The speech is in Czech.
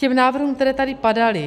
K návrhům, které tady padaly.